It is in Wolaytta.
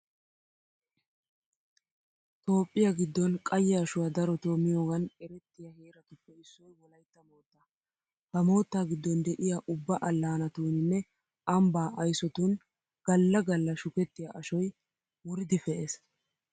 Toophphiya giddon qayye ashuwa darotoo miyogan erettiya heeratuppe issoy wolaytta moottaa. Ha moottaa giddon de'iya ubba allaanatuuninne ambbaa aysotun galla galla shukettiya ashoy wuridi pe'ees.